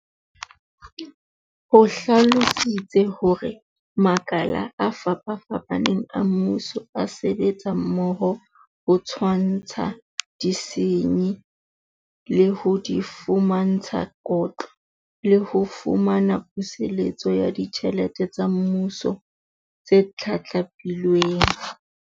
O hlalositse hore makala a fapafapaneng a mmuso a sebetsa mmoho ho tshwantsha disenyi, le ho di fumantsha kotlo, le ho fumana puseletso ya ditjhelete tsa Mmuso tse tlatlapilweng.